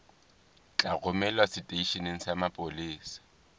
tla romelwa seteisheneng sa mapolesa